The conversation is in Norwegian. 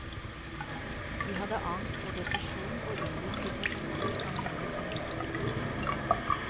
De hadde angst og depresjon og unngikk situasjoner som minnet om ulykken.